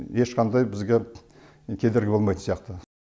ешқандай бізге кедергі болмайтын сияқты